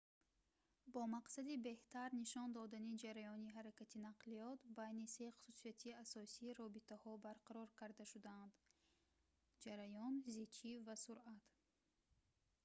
бо мақсади беҳтар нишон додани ҷараёни ҳаракати нақлиёт байни се хусусияти асосӣ робитаҳо барқарор карда шуданд: 1 ҷараён 2 зичӣ ва 3 суръат